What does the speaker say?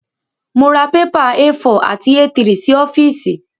Mọ ra pépà A4 àti A3 sí ọ́fíìsì.